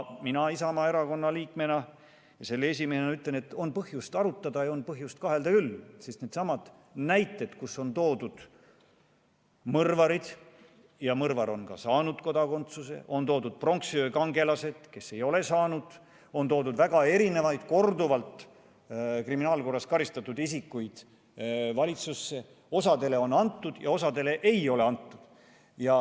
Mina Isamaa Erakonna liikme ja selle esimehena ütlen, et on põhjust arutada ja on põhjust kahelda küll, sest needsamad näited, kus on toodud mõrvarid ja mõrvar on saanud kodakondsuse, on toodud pronksiöökangelased, kes ei ole seda saanud, on toodud väga erinevaid korduvalt kriminaalkorras karistatud isikuid valitsusse, osale on kodakondsus antud ja osale ei ole antud.